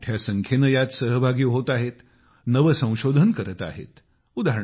शेतकरी मोठ्या संख्येने यात सहभागी होत आहेत नवसंशोधन करत आहेत